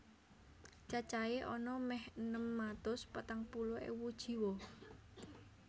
Cacahé ana mèh enem atus patang puluh ewu jiwa